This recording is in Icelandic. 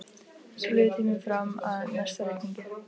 Svo líður tíminn fram að næsta reikningi.